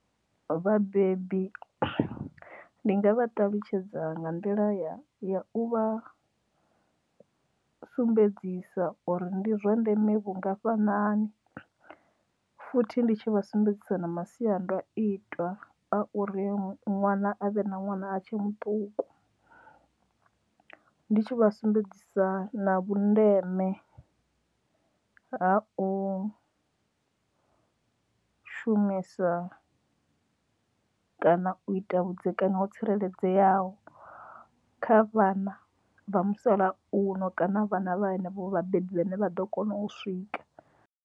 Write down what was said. Vhabebi ndi nga vha ṱalutshedza nga nḓila ya ya u vha sumbedzisa uri ndi zwa ndeme vhungafhanani futhi ndi tshi vha sumbedzisa na masiandaitwa a uri ṅwana a vhe na ṅwana a tshe muṱuku ndi tshi vha sumbedzisa na vhundeme ha u shumisa kana u ita vhudzekani ho tsireledzeaho kha vhana vha musalauno kana vhana vha henevho vhabebi vha ne vha ḓo kona u swika.